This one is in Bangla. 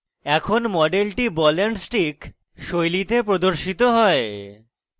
এখন মডেলটি ball and stick শৈলীতে প্রদর্শিত হয়